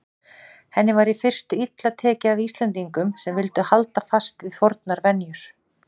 Henni var í fyrstu illa tekið af Íslendingum sem vildu halda fast við fornar venjur.